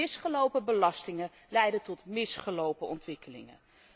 Misgelopen belastingen leiden tot misgelopen ontwikkelingen.